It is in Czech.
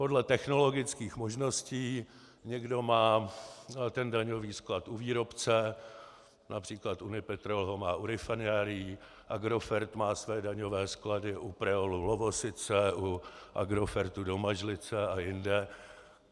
Podle technologických možností někdo má ten daňový sklad u výrobce, například Unipetrol ho má u rafinérií, Agrofert má své daňové sklady u Preolu Lovosice, u Agrofertu Domažlice a jinde.